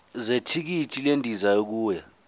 zethikithi lendiza yokuya